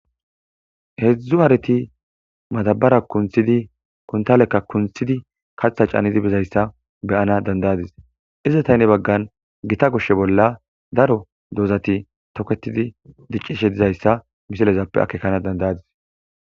Heedzdzu hareti maddabara kunththidi kuntaalekka kunththidi kaththa caanidi bizayssa be'ana danda'adis. Izeta gede baggan gita goshshe bolla daro doozati toketidi diccishe dizayssa misilezappe akeekana danda'adis.